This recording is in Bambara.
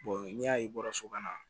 n'i y'a ye bɔra so kɔnɔ